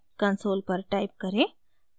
console पर type करें: